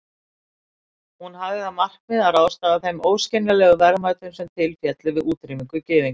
Hún hafði það markmið að ráðstafa þeim óskiljanlegu verðmætum sem til féllu við útrýmingu gyðinga.